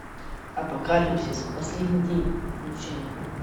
апокалипсис последний день включай